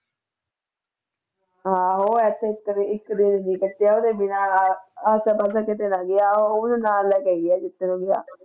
ਹਾਂ ਉਹ ਇੱਕ ਦਿਨ ਨੀ ਕੱਟਿਆ ਉਹਦੇ ਬਿਨਾਂ, ਆਸੇ ਪਾਸੇ ਕਿਸੇ ਦਾ ਵਿਆਹ ਉਹਨੂੰ ਨਾਲ ਲੈ ਕੇ ਆਈ ਹੈ